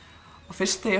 fyrst þegar